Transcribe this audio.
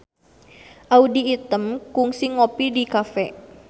Audy Item kungsi ngopi di cafe